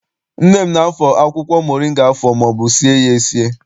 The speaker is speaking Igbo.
Nne m na- afọ akwụkwọ moringa afọ maọbụ sie ya esi.